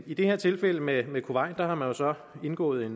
i det her tilfælde med kuwait har man så indgået